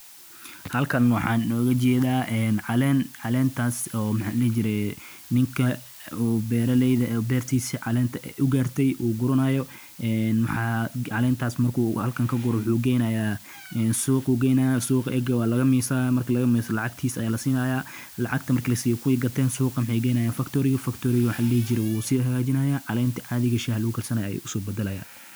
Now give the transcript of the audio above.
Goosashada caleenta shaaha waa hawl muhiim ah oo u baahan xirfad, dulqaad, iyo taxadar si loo helo tayada ugu fiican ee shaaha. Marka caleemaha shaaha ay gaaraan heerka bislaanta, oo ah inta ugu habboon ee laga soo goosan karo, beeralaydu waxay bilaabaan in ay si gacanta ah u goostaan caleemaha cusub ee cagaaran, gaar ahaan caleemaha sare ee geedka oo ah kuwa ugu tayo wanaagsan.